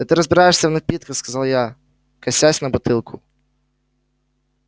да ты разбираешься в напитках сказал я косясь на бутылку